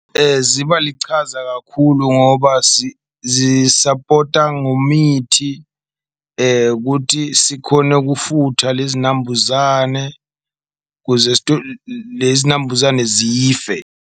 Ziba lichaza kakhulu ngoba zisapota ngomithi kuthi sikhone ukufutha lezi zinambuzane, kuze lezi nambuzane zife.